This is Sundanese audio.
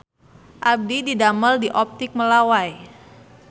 Abdi didamel di Optik Melawai